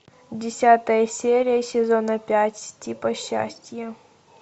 десятая серия сезона пять типа счастье